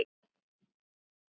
Lokun getur átt við